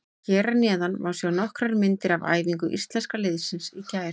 Hér að neðan má sjá nokkrar myndir af æfingu Íslenska liðsins í gær.